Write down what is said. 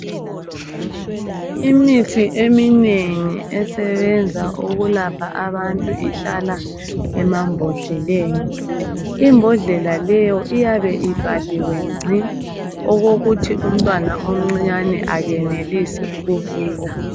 Imithi eminengi esebenza ukulapha abantu ihlala emambodleleni. Imbodlela leyo iyabe ivaliwe ngci okokuthi umntwana omncinyane akenelisi ukuvula.